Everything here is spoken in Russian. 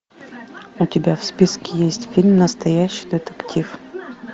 у тебя в списке есть фильм настоящий детектив